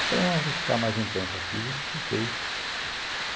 Eu falei, não, eu vou ficar mais um tempo aqui e fiquei.